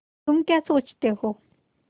तुम क्या सोचते हो